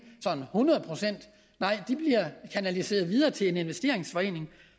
sådan hundrede procent nej de bliver kanaliseret videre til en investeringsforening